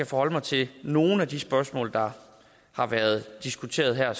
forholde mig til nogle af de spørgsmål der har været diskuteret her og